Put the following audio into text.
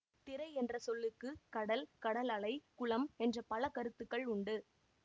திரை என்ற சொல்லுக்கு கடல் கடலலை குளம் என்ற பல கருத்துக்கள் உண்டு